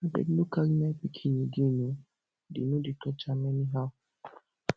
abeg no carry my pikin again oo dey no dey touch am anyhow